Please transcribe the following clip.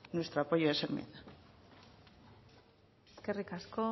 nuestro apoyo a esa enmienda eskerrik asko